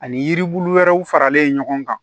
Ani yiri bulu wɛrɛw faralen ɲɔgɔn kan